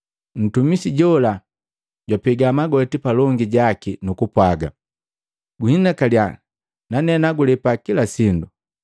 Ntumisi jola jwapega magoti palongi jaki nukupwaga, ‘Guhinakaliya nane nakulepa kila sindu.’